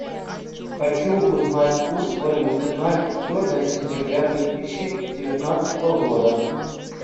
хочу узнать курс валюты на четвертое сентября две тысячи девятнадцатого года